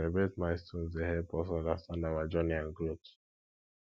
to celebrate milestones dey help us understand our journey and growth